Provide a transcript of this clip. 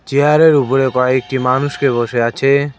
চেয়ারের উপরে কয়েকটি মানুষকে বসে আছে।